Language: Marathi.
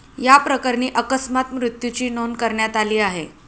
याप्रकरणी अकस्मात मृत्यूची नोंद करण्यात आली आहे.